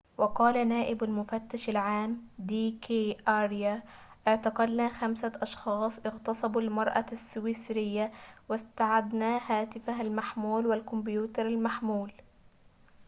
وقال نائب المفتش العام دي كي أريا اعتقلنا خمسة أشخاص اغتصبوا المرأة السويسرية واستعدنا هاتفها المحمول والكمبيوتر المحمول